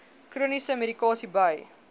chroniese medikasie by